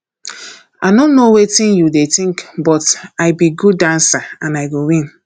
i no know wetin you dey think but i be good dancer and i go win